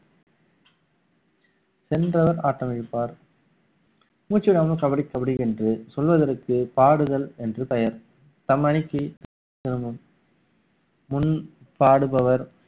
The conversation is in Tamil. சென்றவர் ஆட்ட வைப்பார் மூச்சு விடாம கபடி கபடி என்று சொல்வதற்கு பாடுதல் என்று பெயர் முன்பாடுபவர்